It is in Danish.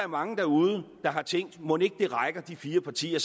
mange derude der har tænkt mon ikke de fire partier